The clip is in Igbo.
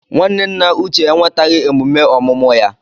Nwanne nna Uche enwetaghị emume ọmụmụ ya.